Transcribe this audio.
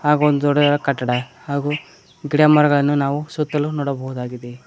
ಹಾಗೂ ಒಂದು ದೊಡ್ಡದಾದ ಕಟ್ಟಡ ಹಾಗೂ ಗಿಡಮರಗಳನ್ನು ನಾವು ಸುತ್ತಲು ನೋಡಬಹುದಾಗಿದೆ.